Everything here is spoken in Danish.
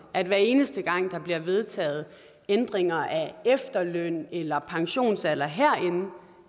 at hver eneste gang der bliver vedtaget ændringer af efterløn eller pensionsalder herinde